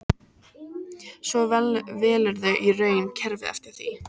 Svo velurðu í raun kerfið eftir því.